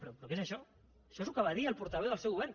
però què és això això és el que va dir el portaveu del seu govern